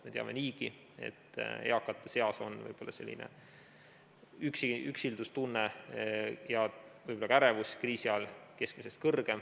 Me teame niigi, et eakate seas on võib-olla üksildustunnet ja võib-olla ka ärevust kriisi ajal keskmisest rohkem.